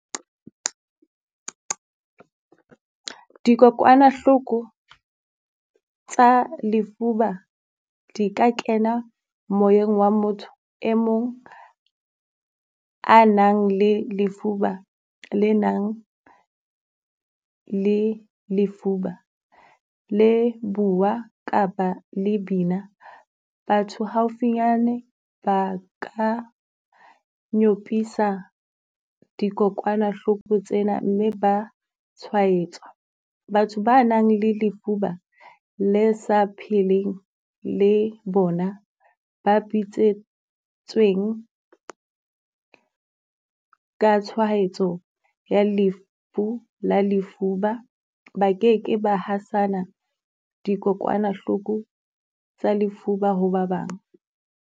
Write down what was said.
Dikokwanahloko tsa lefuba di ka kena moyeng wa motho e mong a nang le lefuba, le nang le lefuba le bua kaba le bina. Batho haufinyane ba ka nyopisa dikokwanahloko tsena mme ba tshwaetswa. Batho ba nang le lefuba le sa pheleng le bona ba bitsweng ka tshwahetso ya lefu la lefuba, ba keke ba hasana dikokwanahloko tsa lefuba ho ba bang.